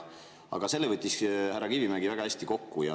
Aga selle võttis härra Kivimägi väga hästi kokku.